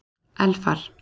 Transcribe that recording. Elfar